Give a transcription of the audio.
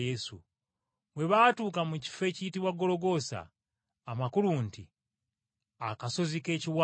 Bwe baatuuka mu kifo ekiyitibwa Gologoosa, amakulu nti, “Akasozi k’Ekiwanga,”